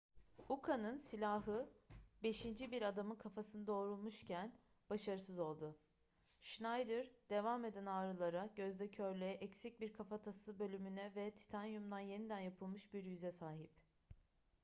uka'nın silahı beşinci bir adamın kafasını doğrulmuşken başarısız oldu schneider devam eden ağrılara gözde körlüğe eksik bir kafatası bölümüne ve titanyumdan yeniden yapılmış bir yüze sahip